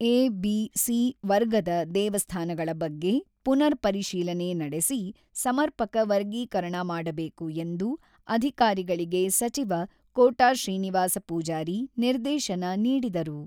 A, B, C ವರ್ಗದ ದೇವಸ್ಥಾನಗಳ ಬಗ್ಗೆ ಪುನರ್ ಪರಿಶೀಲನೆ ನಡೆಸಿ, ಸಮರ್ಪಕ ವರ್ಗೀಕರಣ ಮಾಡಬೇಕು ಎಂದು ಅಧಿಕಾರಿಗಳಿಗೆ ಸಚಿವ ಕೋಟ ಶ್ರೀನಿವಾಸ ಪೂಜಾರಿ ನಿರ್ದೇಶನ ನೀಡಿದರು.